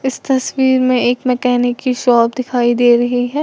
इस तस्वीर में एक मैकेनिक की शॉप दिखाई दे रही है।